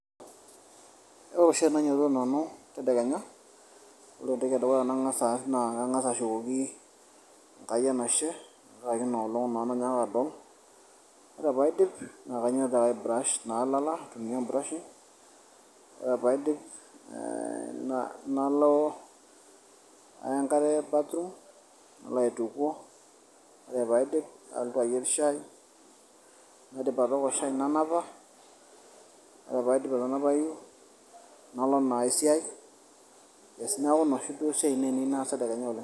ore taa tenainyiototo tedekenya, ore entoki edukuya nang'as aas naa, kang'as ashukoki enkai enashe tenkaraki inaolong' nayaaka adol. ore pee aiidp naa kainyiototo naa ai brush naa lala aitumia e brurashi, ore pee aidip nalo aya enkare bathroom, alo aitukuo, ore pee aidip nalotu ayier shai. ore pee aidip nanapa. ore pee aidp atanapayu nalo naa esiai.